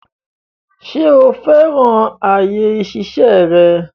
Ṣo fẹ́ràn àyè ìṣiṣẹ́ rẹ?